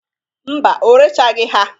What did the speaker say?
Mba, o rechagị ha.